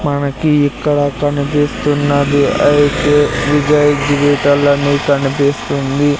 మనకి ఇక్కడ కనిపిస్తున్నది ఐతే విజయ్ డిజిటల్ అని కనిపిస్తుంది.